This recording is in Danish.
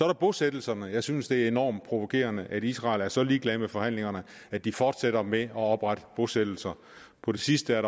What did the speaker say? der bosættelserne jeg synes det er enormt provokerende at israel er så ligeglad med forhandlingerne at de fortsætter med at oprette bosættelser på det sidste